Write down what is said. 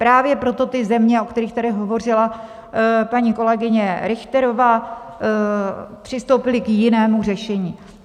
Právě proto ty země, o kterých tady hovořila paní kolegyně Richterová, přistoupily k jinému řešení.